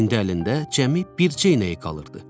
İndi əlində cəmi bircə inəyi qalırdı.